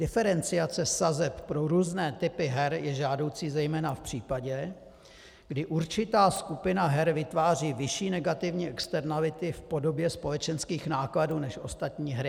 Diferenciace sazeb pro různé typy her je žádoucí zejména v případě, kdy určitá skupina her vytváří vyšší negativní externality v podobě společenských nákladů než ostatní hry.